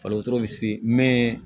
Fali wotoro bɛ se mɛ